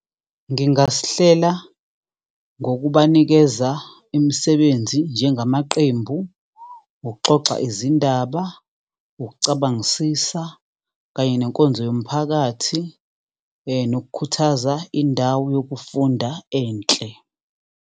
Ngingasihlela ngokubanikeza imisebenzi njengamaqembu, ukuxoxa izindaba, ukucabangisisa, kanye nenkonzo yomphakathi, nokukhuthaza indawo yokufunda enhle.